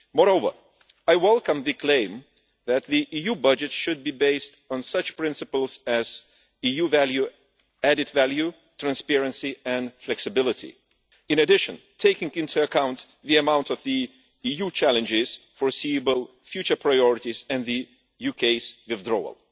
Moreover, I welcome the claim that the EU budget should be based on such principles as EU value, added value, transparency and flexibility, in addition, taking into account the amount of the EU challenges, foreseeable future priorities and the UK's withdrawal.